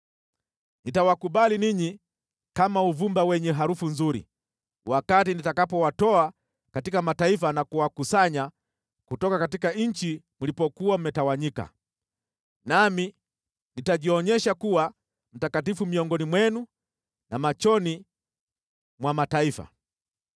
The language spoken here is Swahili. Nitawakubali ninyi kama uvumba wenye harufu nzuri wakati nitakapowatoa katika mataifa na kuwakusanya kutoka nchi mlipokuwa mmetawanyika, nami nitajionyesha kuwa mtakatifu miongoni mwenu na machoni mwa mataifa.